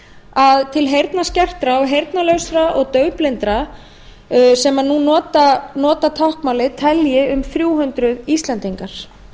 að til heyrnarskertra heyrnarlausra og daufblindra sem nú nota táknmálið telji um þrjú hundruð íslendingar